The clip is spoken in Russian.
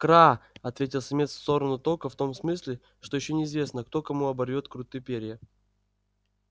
кра ответил самец в сторону тока в том смысле что ещё неизвестно кто кому оборвёт круты перья